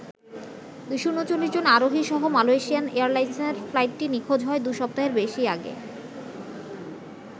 ২৩৯ জন আরোহী সহ মালয়েশিয়ান এয়ারলাইন্সের ফ্লাইটটি নিখোঁজ হয় দুসপ্তাহেরও বেশি আগে।